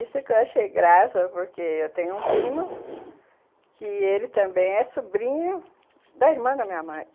Isso que eu achei graça, porque eu tenho um primo que ele também é sobrinho da irmã da minha mãe.